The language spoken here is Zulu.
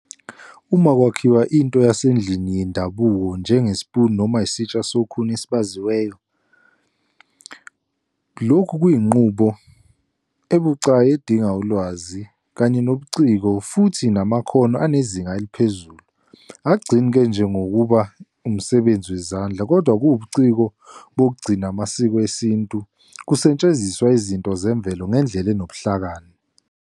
Uma kwakhiwa into yasendlini yendabuko, njengesipuni noma isitsha sokhuni esibaziweyo, lokhu kuyinqubo ebucayi edinga ulwazi, kanye nobuciko, futhi namakhono anezinga eliphezulu. Akugcini-ke nje ngokuba umsebenzi wezandla, kodwa kuwubuciko bokugcina amasiko esintu, kusetshenziswa izinto zemvelo ngendlela onobuhlakani.